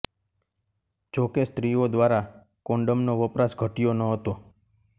જો કે સ્ત્રીઓ દ્વારા કોન્ડોમનો વપરાશ ઘટ્યો નહતો